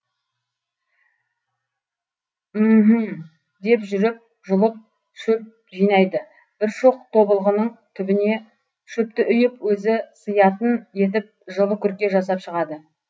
мһм деп жүріп жұлып шөп жинайды бір шоқ тобылғының түбіне шөпті үйіп өзі сыятын етіп жылы күрке жасап шығады